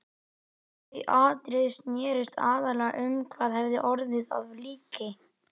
Þau atriði snerust aðallega um hvað hefði orðið af líki